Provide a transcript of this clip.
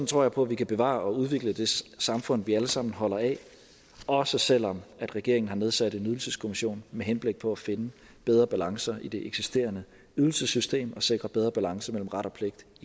tror jeg på at vi kan bevare og udvikle det samfund vi alle sammen holder af også selv om regeringen har nedsat en ydelseskommission med henblik på finde bedre balancer i det eksisterende ydelsessystem og sikre bedre balance mellem ret og pligt